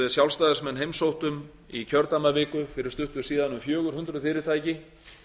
við sjálfstæðismenn heimsóttum í kjördæmaviku fyrir stuttu síðan um fjögur hundruð fyrirtæki